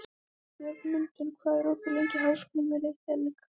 Björgmundur, hvað er opið lengi í Háskólanum í Reykjavík?